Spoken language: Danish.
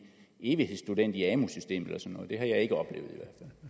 evighedsstudent i amu systemet eller noget det har jeg ikke oplevet